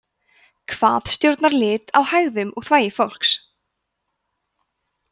hvað stjórnar lit á hægðum og þvagi fólks